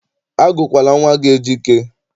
Agụkwala nwa gị Ejike!